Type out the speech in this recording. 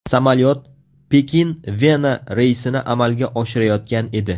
Samolyot Pekin–Vena reysini amalga oshirayotgan edi.